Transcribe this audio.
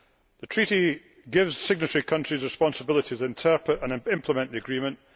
The Treaty gives signatory countries responsibility to interpret and implement the agreement.